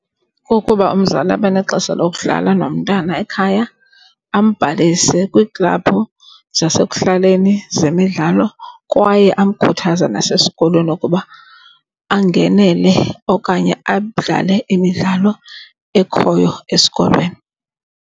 Kukuba umzali abe nexesha lokudlala nomntana ekhaya, ambhalise kwiiklaphu zasekuhlaleni zemidlalo kwaye amkhuthaze nasesikolweni ukuba angenele okanye adlale imidlalo ekhoyo esikolweni.